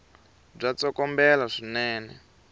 bya tsokombela swinene